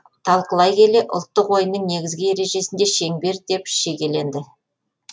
талқылай келе ұлттық ойынның негізгі ережесінде шеңбер деп шегеленді